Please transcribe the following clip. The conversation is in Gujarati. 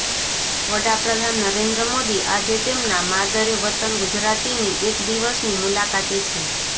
વડાપ્રધાન નરેન્દ્ર મોદી આજે તેમના માદરે વતન ગુજરાતીની એક દિવસની મુલાકાતે છે